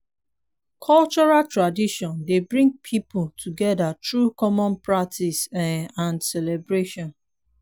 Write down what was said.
cultural tradition dey bring pipo together through common practices um and celebration